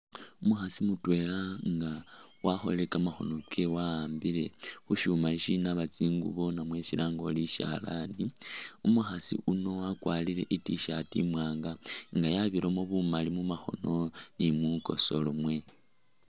Umukhaasi mutwela yakholile kamakhono kewe wa'ambile khushuma sisinaba tsingubo namwe shilange ori sishalani umukhaasi uno wakwarile I't-shirt imwanga nga yabiramo bumali mumakhono ni mukosolo mwene